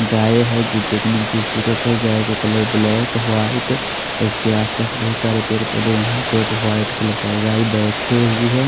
गाय है जो की दिखने में खुबसूरत है गाय के कलर ब्लैक वाइट इसके आस पास बोहोत सारे पेड़ पोधे है यहाँ पे एक वाइट कलर गाय बेठे हुए है।